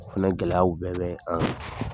Fɛnɛ gɛlɛyaw bɛɛ bɛ an kan